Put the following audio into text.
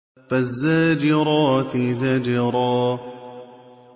فَالزَّاجِرَاتِ زَجْرًا